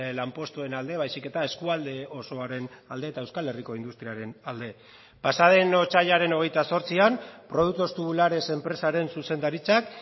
lanpostuen alde baizik eta eskualde osoaren alde eta euskal herriko industriaren alde pasaden otsailaren hogeita zortzian productos tubulares enpresaren zuzendaritzak